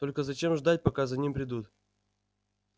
только зачем ждать пока за ним придут